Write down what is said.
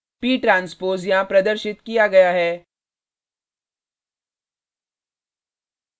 p transpose यहाँ प्रदर्शित किया गया है